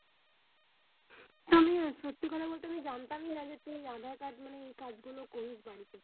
তুমি সত্যি করে বলতে আমি জানতাম না তুমি আধার কার্ড মানে এই কাজ গুলোর করিস বাড়িতে।